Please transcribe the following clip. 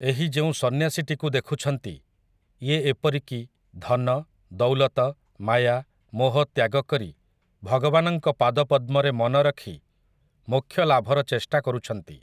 ଏହି ଯେଉଁ ସନ୍ନ୍ୟାସୀଟିକୁ ଦେଖୁଛନ୍ତି, ଇଏ ଏପରିକି ଧନ, ଦୌଲତ, ମାୟା, ମୋହ ତ୍ୟାଗ କରି ଭଗବାନଙ୍କ ପାଦ ପଦ୍ମରେ ମନ ରଖି ମୋକ୍ଷ ଲାଭର ଚେଷ୍ଟା କରୁଛନ୍ତି ।